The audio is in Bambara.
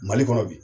Mali kɔnɔ bi